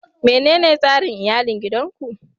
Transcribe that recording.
Menene tsarin iyalin gidan ku?